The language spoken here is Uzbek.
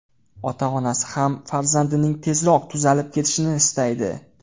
Ota-onasi ham farzandining tezroq tuzalib ketishini istaydi.